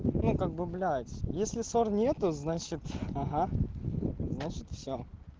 ну как бы блять если ссор нету значит ага значит все